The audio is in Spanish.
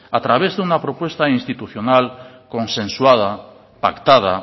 a través de una propuesta institucional consensuada pactada